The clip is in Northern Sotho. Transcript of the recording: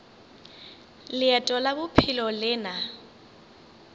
leeto la bophelo le na